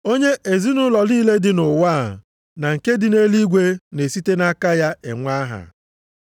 onye ezinaụlọ niile dị nʼụwa a na nke dị nʼeluigwe na-esite nʼaka ya enwe aha.